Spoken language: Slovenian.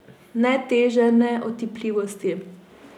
Ne teže ne otipljivosti.